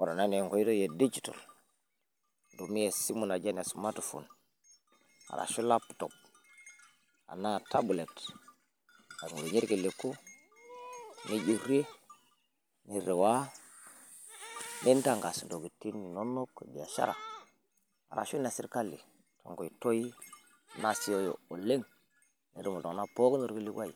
ore ena na enkoitoi edigital, naitumia esimu naji ene smartphone ,arashu laptops ,enaa tablet, nadolie irkiliku, nijurie, niriwaa, nintankas intokitin inonok. ebiashara, ashu inesirkali. tenkoitoi nasiioyo oleng, netum iltung'anak pokin orkilikuai.